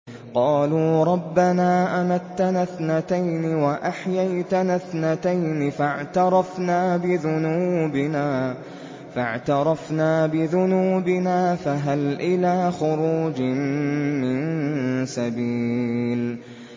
قَالُوا رَبَّنَا أَمَتَّنَا اثْنَتَيْنِ وَأَحْيَيْتَنَا اثْنَتَيْنِ فَاعْتَرَفْنَا بِذُنُوبِنَا فَهَلْ إِلَىٰ خُرُوجٍ مِّن سَبِيلٍ